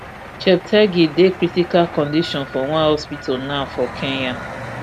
cheptegei dey critical condition for one hospital now for kenya